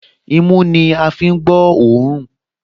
Imú ní a fi ń gbọ́ òórùn